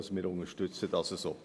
Also: Wir unterstützen dies so.